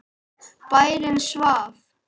Bærinn svaf.